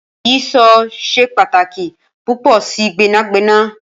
Ìyíṣòó ṣe pataki pupọ si gbẹnagbẹna.